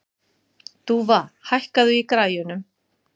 Dúfa, hækkaðu í græjunum.